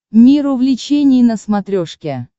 мир увлечений на смотрешке